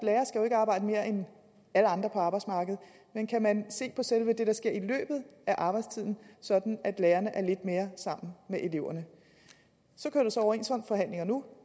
at arbejde mere end alle andre på arbejdsmarkedet men kan man se på selve det der sker i løbet af arbejdstiden sådan at lærerne er lidt mere sammen med eleverne så kører der så overenskomstforhandlinger nu